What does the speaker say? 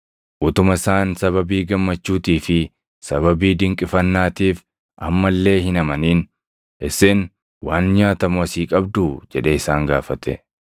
Utuma isaan sababii gammachuutii fi sababii dinqifannaatiif amma illee hin amanin, “Isin waan nyaatamu asii qabduu?” jedhee isaan gaafate.